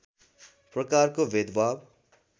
प्रकारको भेदभाव